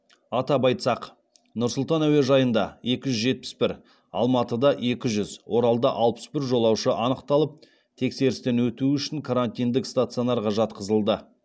атап айтсақ нұр сұлтан әуежайында екі жүз жетпіс бір алматыда екі жүз оралда алпыс бір жолаушы анықталып тескерістен өтуі үшін карантиндік стационарға жатқызылды